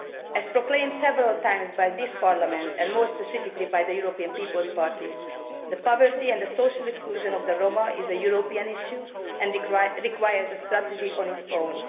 As proclaimed several times by this Parliament, and more specifically by the European People's Party, the poverty and social exclusion of the Roma is a European issue and requires a strategy of its own